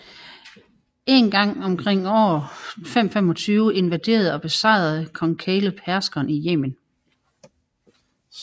En gang omkring år 525 invaderede og besejrede kong Kaleb herskeren i Yemen